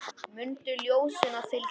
Mundu ljósinu að fylgja.